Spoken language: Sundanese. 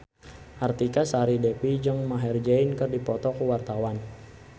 Artika Sari Devi jeung Maher Zein keur dipoto ku wartawan